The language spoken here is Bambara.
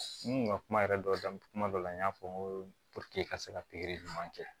N kun ka kuma yɛrɛ dɔ kuma dɔ la n y'a fɔ n ko puruke i ka se ka pikiri ɲuman kɛ